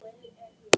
Búmm!